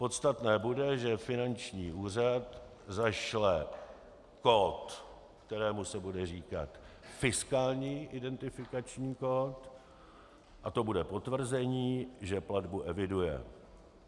Podstatné bude, že finanční úřad zašle kód, kterému se bude říkat fiskální identifikační kód, a to bude potvrzení, že platbu eviduje.